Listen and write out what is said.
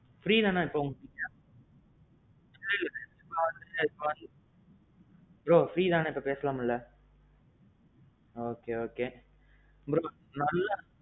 free தானே இப்போ நீங்க? bro. free தானே இப்போ பேசலாம் இல்ல? okay okay. bro நல்லா.